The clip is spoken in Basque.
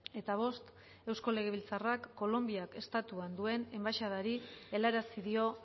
eta bost eusko legebiltzarrak kolonbiak estatuan duen enbaxadari helarazi dio